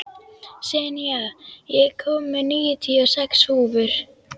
Senía, ég kom með níutíu og sex húfur!